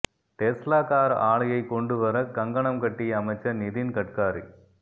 Tesla car ஆலையை கொண்டு வர கங்கணம் கட்டிய அமைச்சர் நிதின் கட்காரி